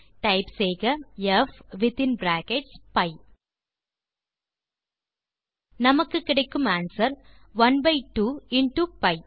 type செய்க p within brackets p நமக்கு கிடைக்கும் ஆன்ஸ்வெர் 1 பை 2 இன்டோ பி